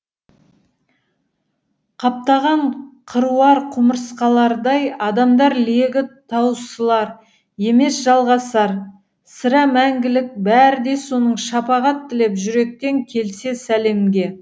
қаптаған қыруар құмырсқалардай адамдар легі таусылар емес жалғасар сірә мәңгілік бәрі де соның шапағат тілеп жүректен келсе сәлемге